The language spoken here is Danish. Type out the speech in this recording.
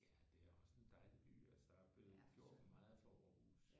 Ja det er også en dejlig by. Altså der er jo blevet gjort meget for Aarhus